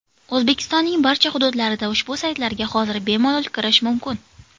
O‘zbekistonning barcha hududlarida ushbu saytlarga hozir bemalol kirish mumkin.